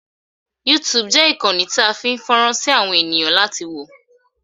Yúutùùbù jẹ́ ìkànnì a ń fi fọ́rán sí fún àwọn èẹ̀yàn láti wò.